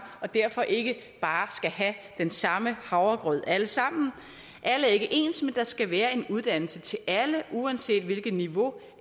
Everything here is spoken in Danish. og derfor ikke bare skal have den samme havregrød alle sammen alle er ikke ens men der skal være en uddannelse til alle uanset hvilket niveau